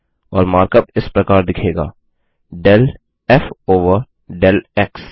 और mark up इस प्रकार दिखेगा del f over del x